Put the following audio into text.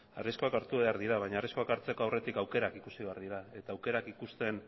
arriskuak hartu behar dira baina arriskuak hartzeko aurretik aukerak ikusi behar dira eta aukerak ikusten